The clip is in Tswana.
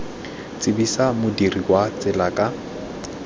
tsibosa modirisi wa tsela ka